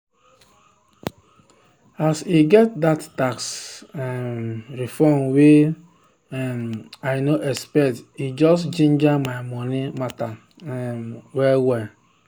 as i get that tax um refund wey um i no expect e just ginger my money matter um well-well.